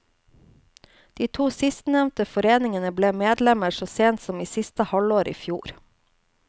De to sistnevnte foreningene ble medlemmer så sent som i siste halvår i fjor.